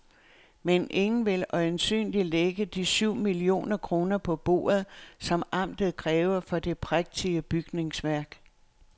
Men ingen vil øjensynligt lægge de syv millioner kroner på bordet, som amtet kræver for det prægtige bygningsværk.